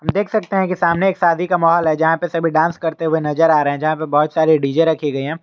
देख सकते हैं कि सामने एक शादी का माहौल है जहां पर सभी डांस करते हुए नजर आ रहे हैं जहां पे बहोत सारे डी_जे रखे गए हैं।